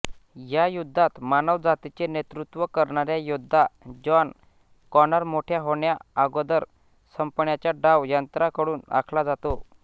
या युद्धात मानवजातीचे नेतृत्व करणाऱ्या योद्धा जॉन कॉनॉरमोठ्या होण्याआगोदर संपवण्याचा डाव यंत्रांकडून आखला जातो